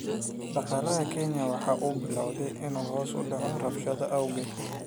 Dhaqaalaha Kenya waxa uu bilaabay in uu hoos u dhaco rabshadaha awgeed.